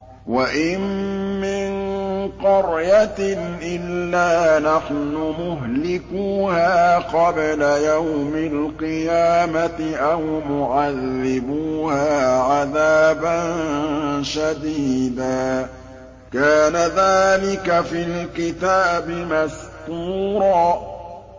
وَإِن مِّن قَرْيَةٍ إِلَّا نَحْنُ مُهْلِكُوهَا قَبْلَ يَوْمِ الْقِيَامَةِ أَوْ مُعَذِّبُوهَا عَذَابًا شَدِيدًا ۚ كَانَ ذَٰلِكَ فِي الْكِتَابِ مَسْطُورًا